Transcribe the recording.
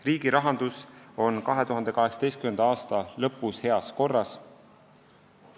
Riigi rahandus on 2018. aasta lõpus heas korras.